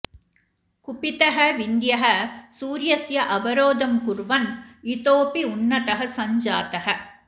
कुपितः विन्ध्यः सूर्यस्य अवरोधं कुर्वन् इतोपि उन्नतः सञ्जातः